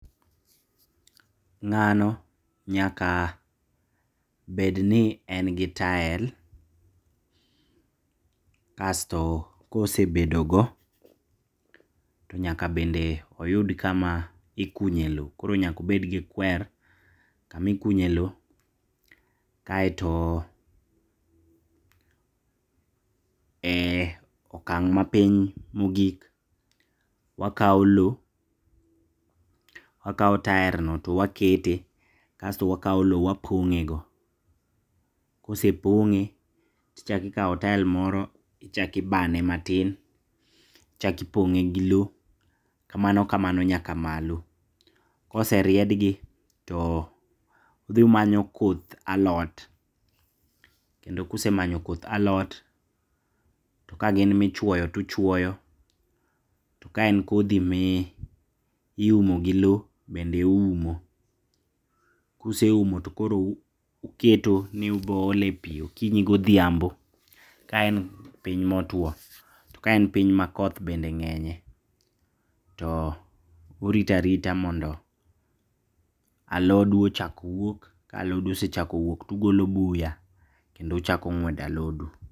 Ng'ano nyaka bedni en gi tael, kasto kosebedogo tonyaka bende oyud kama ikunye lo koro nyaka obedgi kwer kama ikunye lo kaeto, e okang' mapiny mogik wakao lo, wakao taerno to wakete, kasto wakao lo wapong'e go, kosepong'e tichako ikao tael moro, ichak ibane matin, ichak ipong'e gi lo, kamano kamano nyaka malo. Koseriedgi to udhi umanyo koth alot, kendo kusemanyo koth alot to gakin michuoyo tuchuoyo to kaen kothi miumo gi lo bende uumo. Kuseumo tokoro uketo ni ubo ole pii okinyi godhiambo kaen piny motuo, to kaen piny makoth bende ng'enye to urito arita mondo alodu ochak wuok, ka alodu osechakowuok tugolo buya kendo uchako ng'wedo alodu.